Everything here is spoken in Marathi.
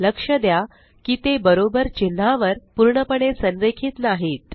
लक्ष द्या की ते बरोबर चिन्हावर पूर्णपणे संरेखित नाहीत